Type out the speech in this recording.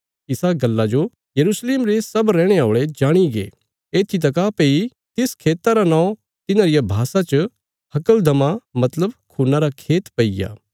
इसा गल्ला जो यरूशलेम रे सब रैहणे औल़े जाणीगे येत्थी तका भई तिस खेता रा नौं तिन्हां रिया भाषा च हक्लदमा मतलब खून्ना रा खेत पईग्या